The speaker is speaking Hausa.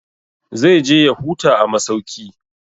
Zai je ya huta a masauki.